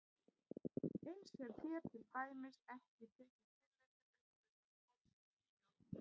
Eins er hér til dæmis ekki tekið tillit til uppleystrar kolsýru í bjórnum.